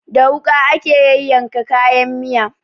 Da wuƙa ake yayyanka kayan miya